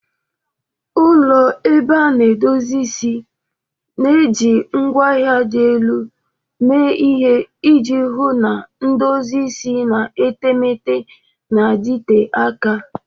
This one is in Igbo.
Ụlọ ebe a na-edozi isi na-eji ngwaahịa dị elu mee ihe iji hụ na edozi isi na etemeete na-adịte aka.